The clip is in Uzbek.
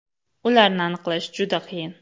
Ularni aniqlash juda qiyin.